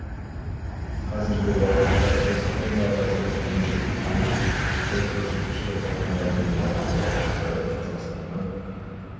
қазіргі уақытта біз тоннаға жуық мұнай жеткіземіз бұл көрсеткішті тоннаға дейін арттыруға сондай-ақ қазақстаннан